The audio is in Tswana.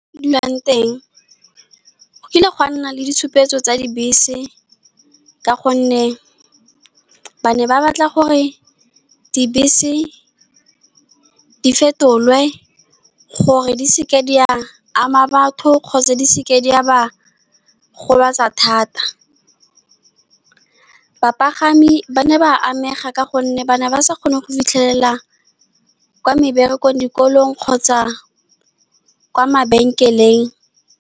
Dulang teng, go kile ga nna le ditshupetso tsa dibese ka gonne ba ne ba batla gore dibese di fetolwe gore di seke di a ama batho kgotsa di seke di a ba gobatsa thata. Bapagami ba ne ba amega ka gonne ba ne ba sa kgone go fitlhelela kwa meberekong, dikolong kgotsa kwa mabenkeleng.